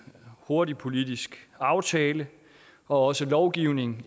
hurtig politisk aftale og også lovgivning